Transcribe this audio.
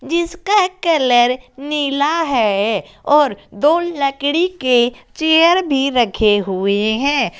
जिसका कलर नीला है और दो लकड़ी के चेयर भी रखे हुए हैं।